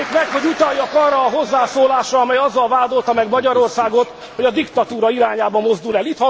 engedjék meg, hogy utaljak arra a hozzászólásra, amely azzal vádolta meg Magyarországot, hogy a diktatúra irányába mozdul el.